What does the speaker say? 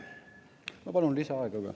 Ma palun lisaaega ka.